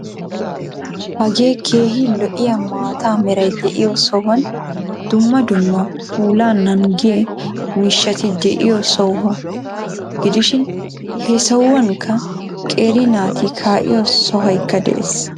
Hagee keehi lo"iyaa maata meray de'iyoo sohuwaan dumma dumma puulaa nanggiyaa miishshati de'iyoo sohuwaa. gidishin he sohuwaanka qeeri naati kaa'iyoo soohoykka de'ees.